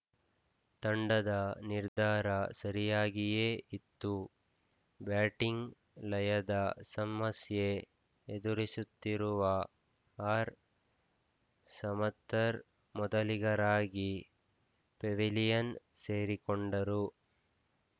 ತಂಡದ ನಿರ್ಧಾರ ಸರಿಯಾಗಿಯೇ ಇತ್ತು ಬ್ಯಾಟಿಂಗ್‌ ಲಯದ ಸಮಸ್ಯೆ ಎದುರಿಸುತ್ತಿರುವ ಆರ್‌ಸಮತ್ತರ್ ಮೊದಲಿಗರಾಗಿ ಪೆವಿಲಿಯನ್‌ ಸೇರಿಕೊಂಡರು